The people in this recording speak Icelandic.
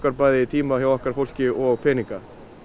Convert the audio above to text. bæði tíma hjá okkar fólki og peninga